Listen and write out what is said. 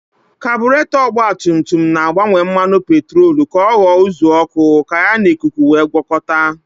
Kaburetọ ọgbatumtum na-agbanwe mmanụ petrolu ka ọ ghọọ uzuọkụ ka ya na ikuku wee gwọkọta.